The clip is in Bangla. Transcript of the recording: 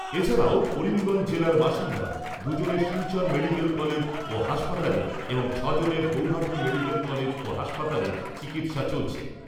এছাড়াও, করিমগঞ্জ জেলার বাসিন্দা দুজনের শিলচর মেডিকেল কলেজ ও হাসপাতালে এবং ছ'জনের গৌহাটী মেডিকেল কলেজ ও হাসপাতালে চিকিৎসা চলছে।